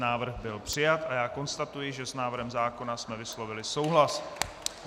Návrh byl přijat a já konstatuji, že s návrhem zákona jsme vyslovili souhlas.